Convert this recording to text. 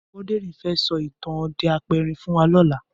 Aboderin fè sò itàn òdè àpérín fún wà lòlá